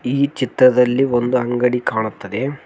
ಈ ಚಿತ್ರದಲ್ಲಿ ಒಂದು ಅಂಗಡಿ ಕಾಣುತ್ತದೆ.